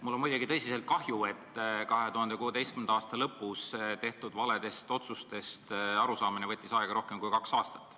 Mul on muidugi tõsiselt kahju, et 2016. aasta lõpus tehtud valedest otsustest arusaamine võttis aega rohkem kui kaks aastat.